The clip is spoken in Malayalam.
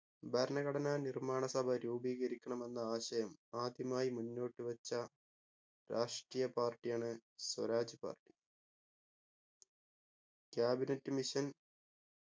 ഭരണഘടനാ നിർമ്മാണ സഭ രൂപീകരിക്കണമെന്ന ആശയം ആദ്യമായി മുന്നോട്ടു വെച്ച രാഷ്ട്രീയ party ആണ് സ്വരാജ് party cabinet mission